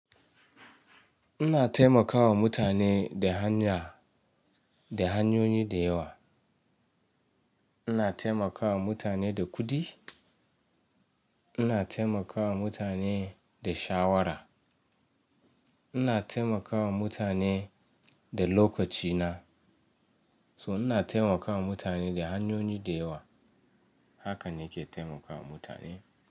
Ina taimakawa mutane da hanya, da hanyoyi da yawa. Ina taimakawa mutane da kuɗi, ina taimakawa mutane da shawara, ina taimakawa mutane da lokaci na. To ina taimakawa mutane da hanyoyi da yawa, haka nike taimakawa mutane.